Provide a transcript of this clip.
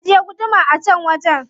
Ajiye gudumar a can wajen.